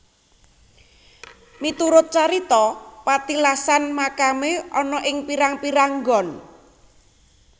Miturut carita petilasan makamé ana ing pirang pirang nggon